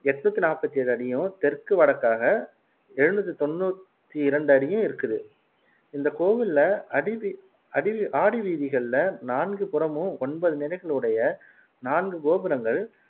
எண்ணூத்தி நாப்பத்தி ஏழு அடியும் தெற்கு வடக்காக எழுநூத்து தொண்ணூத்தி இரண்டு அடியும் இருக்குது இந்த கோவில்ல அடிவீ அடிவீ ஆடிவீதிகளில நான்கு புறமும் ஒன்பது நிலைகளையுடைய நான்கு கோபுரங்கள்